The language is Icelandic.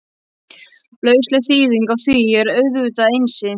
Lausleg þýðing á því er auðvitað Einsi!